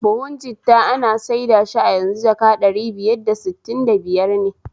Buhu jitta ana saida shi a yanzu jaka ɗari biyar da sittin da biyar ne